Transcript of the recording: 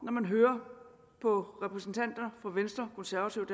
når man hører på repræsentanter fra venstre konservative og